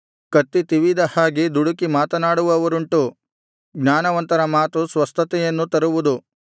ಕತ್ತಿ ತಿವಿದ ಹಾಗೆ ದುಡುಕಿ ಮಾತನಾಡುವವರುಂಟು ಜ್ಞಾನವಂತರ ಮಾತು ಸ್ವಸ್ಥತೆಯನ್ನು ತರುವುದು